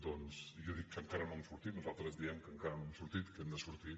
doncs jo dic que encara no hem sortit nosaltres diem que encara no hem sortit que hem de sortir